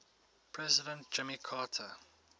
president jimmy carter